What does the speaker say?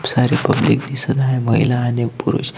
सारे पब्लिक दिसत आहे महिला आणि पुरुष--